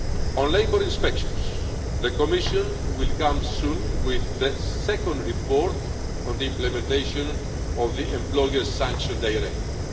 needed. On labour inspections, the Commission will come soon with the second report on the implementation of the Employers' Sanction Directive.